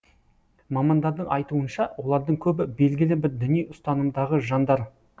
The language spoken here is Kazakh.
мамандардың айтуынша олардың көбі белгілі бір діни ұстанымдағы жандар